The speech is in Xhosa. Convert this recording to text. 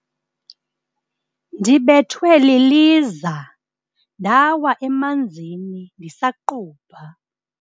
Ndibethwe liliza ndawa emanzini ndisaqubha.